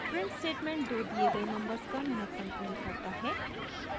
print statement दो दिए गए नंबर्स का महत्तम प्रिंट करता है